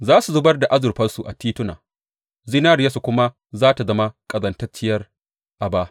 Za su zubar da azurfarsu a tituna, zinariyarsu kuma za tă zama ƙazantacciyar aba.